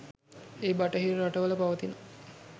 ඒ බටහිර රටවල පවතින